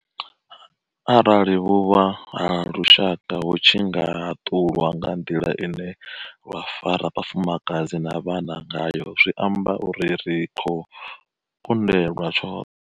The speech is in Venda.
Arali vhuvha ha lushaka hu tshi nga haṱulwa nga nḓila ine lwa fara vhafumakadzi na vhana ngayo, zwi amba uri ri khou kundelwa tshoṱhe.